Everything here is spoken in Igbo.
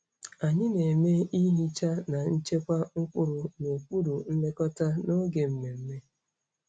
Anyị na-eme ihicha na nchekwa mkpụrụ n'okpuru nlekọta n'oge mmemme.